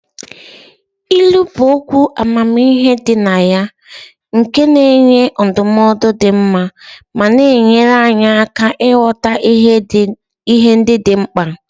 Ilu bụ okwu amamihe dị na ya nke na-enye ndụmọdụ dị mma ma na-enyere anyị aka ịghọta ihe ndị dị mkpa.